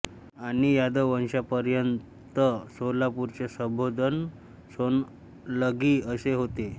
आणि यादव वंशापर्यंत सोलापूरचे संबोधन सोन्नलगी असे होते